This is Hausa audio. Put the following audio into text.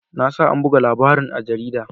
Na sa an buga labarin a jarida.